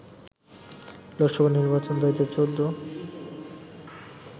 লোকসভা নির্বাচন ২০১৪